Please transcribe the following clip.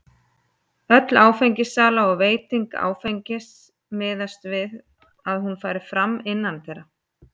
Öll áfengissala og veiting áfengis miðast við það að hún fari fram innandyra.